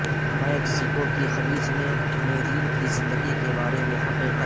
Mexico کے خلیج میں میرین کی زندگی کے بارے میں حقیقت